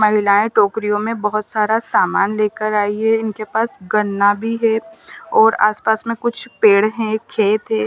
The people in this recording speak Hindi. महिलायें टोकरियों में बहुत सारा सामान लेकर आई हैं इनके पास गन्ना भी है और आसपास में कुछ पेड़ हैं खेत है।